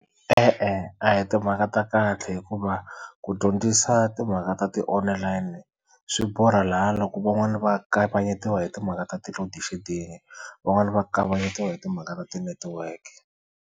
E-e a hi timhaka ta kahle hikuva ku dyondzisa timhaka ta ti-online swi borha laha loko van'wani va kavanyetiwa hi timhaka ta ti-loadshedding van'wani va kavanyetiwa hi timhaka ta ti-network.